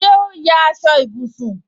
Ṣé o ya aṣọ ìbùsùn